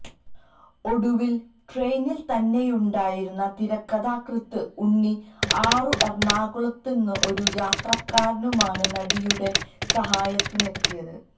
ഒടുവിൽ ട്രെയിനിൽ തന്നെയുണ്ടായിരുന്ന തിരക്കഥാകൃത്ത് ഉണ്ണി ആറും എറണാകുളത്തു നിന്നുള്ള ഒരു യാത്രക്കാരനുമാണ് നടിയുടെ സഹായത്തിന് എത്തിയത്